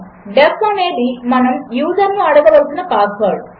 D E F అనేదిమనముయూజర్నుఅడగవలసినపాస్వర్డ్